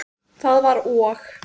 Það var og!